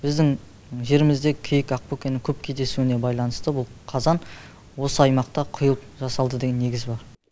біздің жерімізде киік ақбөкені көп кездесуіне байланысты бұл қазан осы аймақта құйылып жасалды деген негіз бар